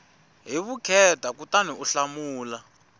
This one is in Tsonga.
hi vukheta kutani u hlamula